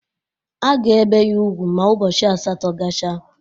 A ga-ebe ya ugwu ma ụbọchị asatọ gachaa